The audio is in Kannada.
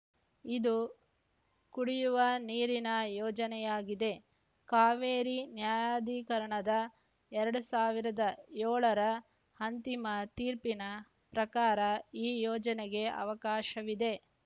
ಇದು ಕುಡಿಯುವ ನೀರಿನ ಯೋಜನೆಯಾಗಿದೆ ಕಾವೇರಿ ನ್ಯಾಯಾಧಿಕರಣದ ಎರಡ್ ಸಾವಿರದ ಏಳರ ಅಂತಿಮ ತೀರ್ಪಿನ ಪ್ರಕಾರ ಈ ಯೋಜನೆಗೆ ಅವಕಾಶವಿದೆ